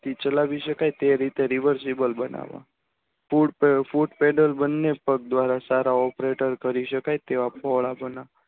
ચલાવી શકાય તે રીતે Siffle બનાવ્યા બને પગ સારા હોવા પડે પેટાળ કરી શકાય તેવા